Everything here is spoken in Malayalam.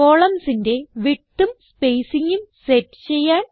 columnsന്റെ widthഉം spacingഉം സെറ്റ് ചെയ്യാൻ